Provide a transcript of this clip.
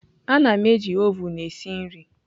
Ana m eji oven esi nri.